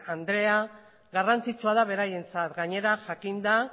andrea garrantzitsua da beraientzat gainera jakinda